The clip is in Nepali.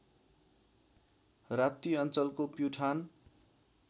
राप्ती अञ्चलको प्युठान